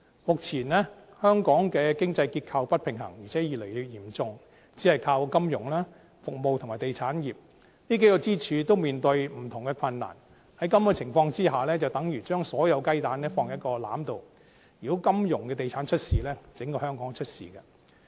目前香港的經濟結構不平衡，而且越來越嚴重，只是靠金融、服務和地產業，但這數個支柱也面對不同的困難，在這種情況下，等於將所有雞蛋放入同一籃子，如果金融地產業出事，整個香港也會出事。